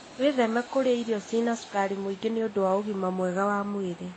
Wĩtheme kũrĩa irio cĩĩna cukari mũingĩ nĩ ũndũ wa ũgima mwega wa mwĩrĩ.